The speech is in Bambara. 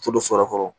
To don so yɛrɛ kɔrɔ